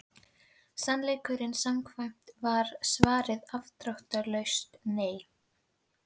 Sannleikanum samkvæmt var svarið afdráttarlaust nei.